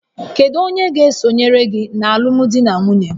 Kedu onye ga-esonyere gị na alụmdi na nwunye?